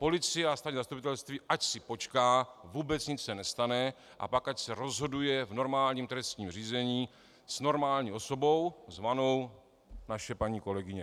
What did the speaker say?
Policie a státní zastupitelství ať si počká, vůbec nic ne nestane, a pak ať se rozhoduje v normálním trestním řízení s normální osobou zvanou naše paní kolegyně.